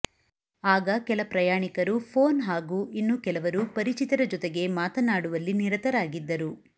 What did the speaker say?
ಆಗ ಕೆಲ ಪ್ರಯಾಣಿಕರು ಫೋನ್ ಹಾಗೂ ಇನ್ನು ಕೆಲವರು ಪರಿಚಿತರ ಜೊತೆಗೆ ಮಾತನಾಡುವಲ್ಲಿ ನಿರತರಾಗಿದ್ದರು